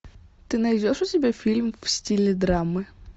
ты найдешь у себя фильм в стиле драмы